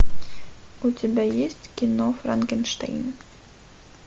у тебя есть кино франкенштейн